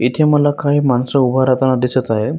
इथे मला काही माणस उभा राहताना दिसत आहेत.